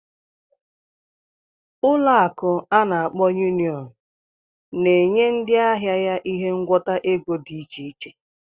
Ụlọ akụ ana akpo Union na-enye ndị ahịa ya ihe ngwọta ego dị iche iche.